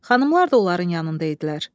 Xanımlar da onların yanında idilər.